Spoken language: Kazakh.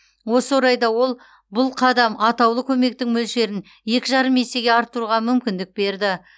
осы орайда ол бұл қадам атаулы көмектің мөлшерін екі жарым есеге арттыруға мүмкіндік берді